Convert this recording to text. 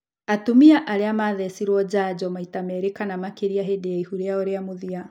Atumia arĩa mathecirwo njanjo maita merĩ kana makĩria hĩndĩ ya ihu rĩao rĩa mũthia